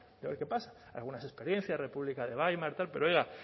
y a ver qué pasa algunas experiencias república de weimar tal pero oiga